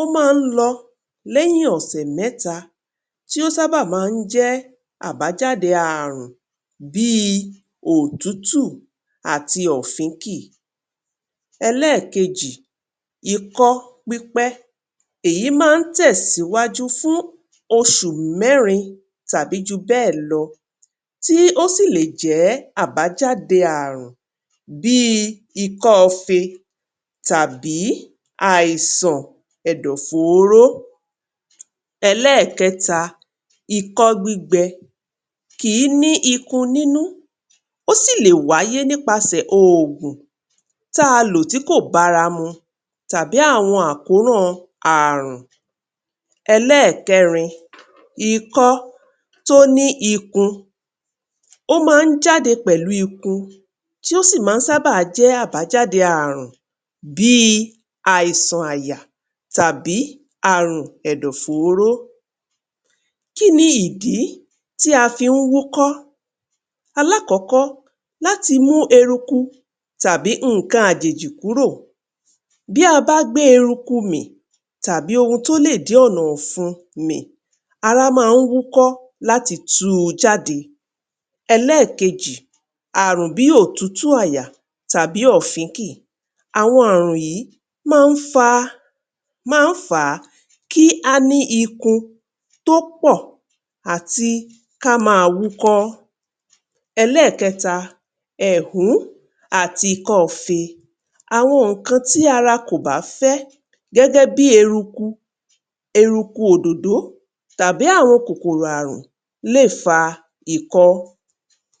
Ó máa ń lọ lẹ́yìn ọ̀sẹ̀ mẹ́tà tí ó sábà máa ń jẹ́ àbájáde ààrùn bíi òtútù àti ọ̀fìnkìí. Èkejì, ìkọ́ pípẹ́. Ẹ́yìn máa ń tẹ̀ síwájú fún oṣù mẹ́rin tàbí ju bẹ́ẹ̀ lọ tí ó sí lè jẹ́ àbájáde ààrùn bíi ìkọ́ ọ̀fẹ̀ tàbí àìsàn ẹ̀dọ̀ fọ́ọ̀rọ̀. Èkẹta, ìkọ́ gbígbẹ. Kí ni ìkún nínú? Ó sì lè wáyé kọjáyà ogún tà ló tí kò bá rá mú tàbí àwọn àkóràn ààrùn. Èkẹrin, ìkọ́ tó ní ìkún. Ó máa ń jáde pẹ̀lú ìkún tí ó sì máa sábà jẹ́ àbájáde ààrùn bíi àìsàn àyà tàbí ààrùn ẹ̀dọ̀ fọ́ọ̀rọ̀. Kí ni ìdí tí a fi ń wúkọ́? Àkọ́kọ́, láti mú ẹ̀rúkù tàbí nǹkan ajìjì kúrò. Bí a bá gbé ẹ̀rúkù mí tàbí ohun tó lè dì ọ̀nà ọ̀fǔn mí, ara máa ń wúkọ́ láti tú ú jáde. Èkejì, ààrùn bíi òtútù àyà tàbí ọ̀fìnkìí. Àwọn ààrùn yìí máa ń fàá, máa ń fà kí a ní ìkún tó pọ̀ àti kí a má wú kọ́. Èkẹta, ẹ́hù àti ìkọ̀fé. Àwọn nǹkan tí ara kò bá fẹ́ gẹ́gẹ́ bíi ẹ̀rúkù, ẹ̀rúkù òdòdó tàbí àwọn kòkòrò ààrùn lè fà ìkọ́.